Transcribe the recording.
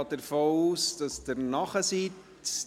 Ich gehe davon aus, dass Sie bereit sind.